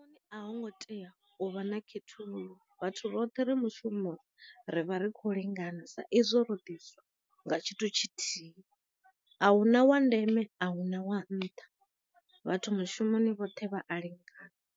A ho ngo tea u vha na khethululo vhathu vhoṱhe ri mushumo ri vha ri kho lingana sa izwo ro ḓiswa nga tshithu tshithihi, ahuna wa ndeme, a huna wa nṱha vhathu mushumoni vhoṱhe vha a lingana.